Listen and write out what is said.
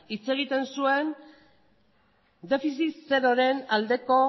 hitz egiten zuen defizit zeroren aldeko